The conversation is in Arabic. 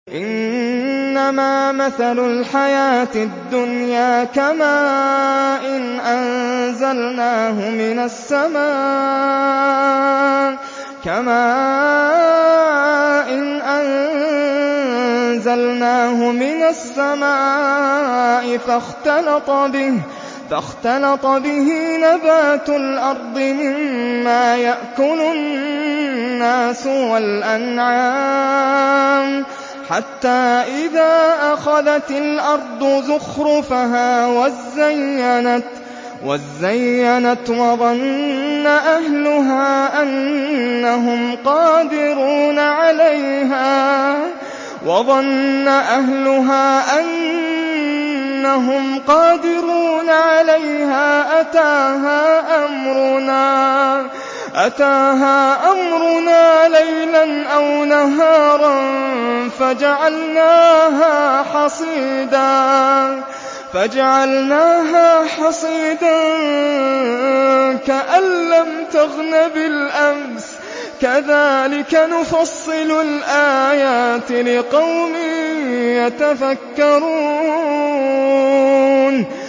إِنَّمَا مَثَلُ الْحَيَاةِ الدُّنْيَا كَمَاءٍ أَنزَلْنَاهُ مِنَ السَّمَاءِ فَاخْتَلَطَ بِهِ نَبَاتُ الْأَرْضِ مِمَّا يَأْكُلُ النَّاسُ وَالْأَنْعَامُ حَتَّىٰ إِذَا أَخَذَتِ الْأَرْضُ زُخْرُفَهَا وَازَّيَّنَتْ وَظَنَّ أَهْلُهَا أَنَّهُمْ قَادِرُونَ عَلَيْهَا أَتَاهَا أَمْرُنَا لَيْلًا أَوْ نَهَارًا فَجَعَلْنَاهَا حَصِيدًا كَأَن لَّمْ تَغْنَ بِالْأَمْسِ ۚ كَذَٰلِكَ نُفَصِّلُ الْآيَاتِ لِقَوْمٍ يَتَفَكَّرُونَ